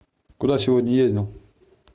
куда сегодня ездил